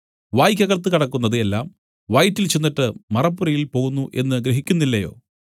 വായ്ക്കകത്തു കടക്കുന്നത് എല്ലാം വയറ്റിൽ ചെന്നിട്ട് മറപ്പുരയിൽ പോകുന്നു എന്നു ഗ്രഹിക്കുന്നില്ലയോ